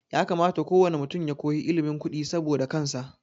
Ya kamata ko wane mutum ya koyi ilimin kudi saboda kansa